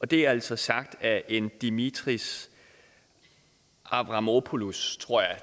det er altså sagt af en dimitris avramopoulos tror jeg